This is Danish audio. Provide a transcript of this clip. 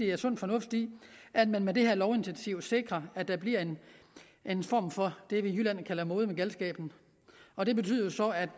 er sund fornuft i at man med det her lovinitiativ sikrer at der bliver en form for det vi i jylland kalder for måde med galskaben og det betyder jo så at